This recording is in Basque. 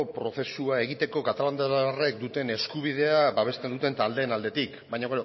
prozesua egiteko katalandarrek duten eskubidea babesten duten taldeen aldetik baina